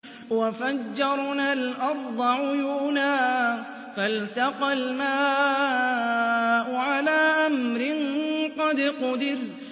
وَفَجَّرْنَا الْأَرْضَ عُيُونًا فَالْتَقَى الْمَاءُ عَلَىٰ أَمْرٍ قَدْ قُدِرَ